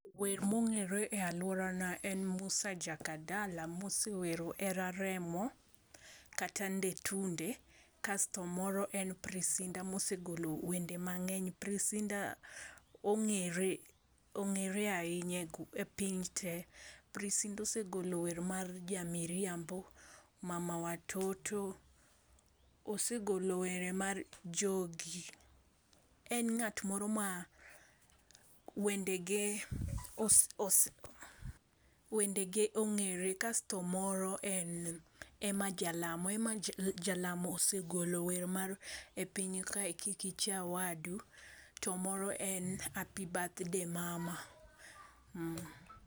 Wer mongere e aluorana en Musa Jakadala mosewero hera remo kata nde tunde kasto moro en Prince Inda mosegolo wende mangeny. Prince Inda ongere, ongere ahinya e piny tee. Prince Inda osegolo wer mar jamiriambo, mama watoto, osegolo were mar juogi. En ngat moro ma wende ge ongere, kasto moro en Emma Jalamo. Emma Jalamo osegolo wer mar e piny ka kik icha wadu kasto to moro en Happy birthday mama